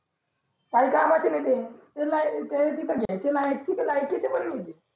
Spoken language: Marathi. काही कामाचे नाही ते कुठं घ्यायच्या लायकीचे भी नाही ते